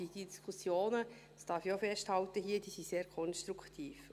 Diese Diskussionen, das darf ich hier auch festhalten, sind sehr konstruktiv.